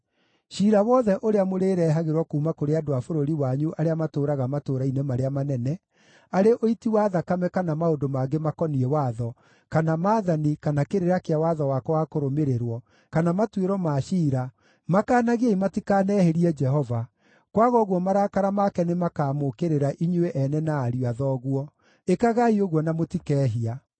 Ciira wothe ũrĩa mũrĩrehagĩrwo kuuma kũrĩ andũ a bũrũri wanyu arĩa matũũraga matũũra-inĩ marĩa manene, arĩ ũiti wa thakame kana maũndũ mangĩ makoniĩ watho, kana maathani, kana kĩrĩra kĩa watho wakwa wa kũrũmĩrĩrwo, kana matuĩro ma ciira, makanagiei matikanehĩrie Jehova; kwaga ũguo marakara make nĩmakamũũkĩrĩra inyuĩ ene na ariũ a thoguo. Ĩkagai ũguo na mũtikehia.